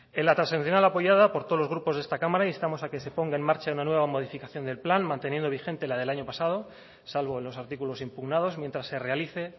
en la transaccional apoyada por todos los grupos de esta cámara instamos a que se ponga en marcha una nueva modificación del plan manteniendo vigente la del año pasado salvo en los artículos impugnados mientras se realice